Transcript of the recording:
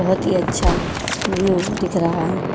बहुत ही अच्छा व्यू दिख रहा है।